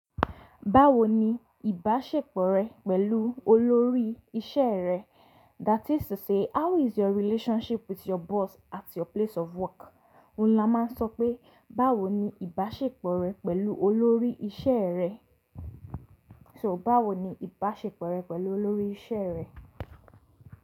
Báwo ni ìbáṣepọ̀ rẹ pẹ̀lú olórí iṣẹ́ rẹ? That is to say how is your relationship with your boss at your place of work? Òún la máa ń sọ pé, báwo ni ìbáṣepọ̀ rẹ pẹ̀lú olórí iṣẹ́ rẹ? So báwo ni ìbáṣepọ̀ rẹ pẹ̀lú olórí iṣẹ́ rẹ?